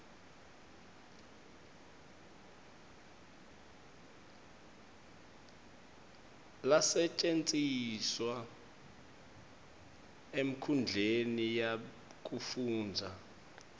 lasetjentiswa enkhundleni yekufundza